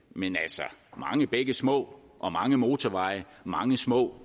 men altså mange bække små og mange motorveje mange små